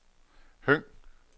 Høng